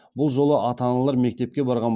бұл жолы ата аналар мектепке барған